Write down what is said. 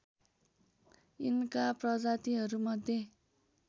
यिनका प्रजातिहरू मध्ये